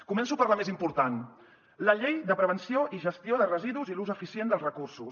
començo per la més important la llei de prevenció i gestió de residus i l’ús eficient dels recursos